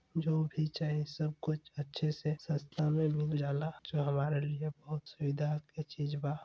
जो भी चाही सब कुछ अच्छे से सस्ता में मिल जा ला जो हमारे लिए बहुत सही दाम की चीज बा।